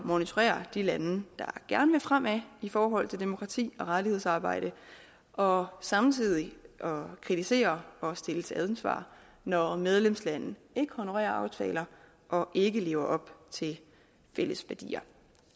monitorere de lande der gerne vil fremad i forhold til demokrati og rettighedsarbejde og samtidig kritisere og stille til ansvar når medlemslande ikke honorerer aftaler og ikke lever op til fælles værdier